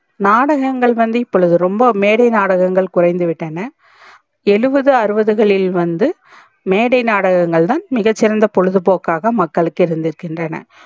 நாடகங்கள் இப்பொழுது ரொம்ப மேடை நாடங்கள் குறைந்து விட்டன எழுவது அறுவதுகளில் வந்து மேடை நாடகங்கள் தா மிக சிறந்த பொழுது போக்குகாக மக்களுக்கு இருந்து இருகின்றன